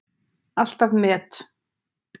Alltaf met.